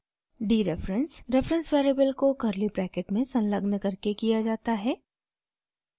dereference reference variable को curly bracket में संलग्न करके किया जाता है